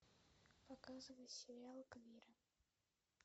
показывай сериал квиры